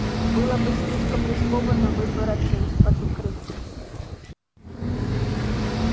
было бы слишком рискованно выбраться из-под укрытия